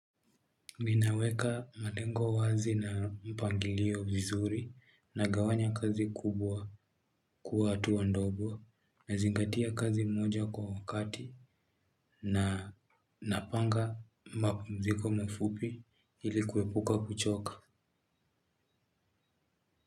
Ninaweka malengo wazi na mpangilio vizuri nagawanya kazi kubwa kuwa hatua ndogo, nazingatia kazi moja kwa wakati na napanga mapumziko mafupi ili kuepuka kuchoka.